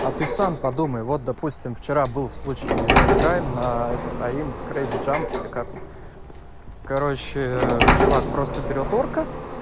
а ты сам подумай вот допустим вчера был случай играем на этот аимп крэзи жамп пикап короче чувак просто берет орка